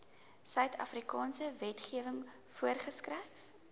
suidafrikaanse wetgewing voorgeskryf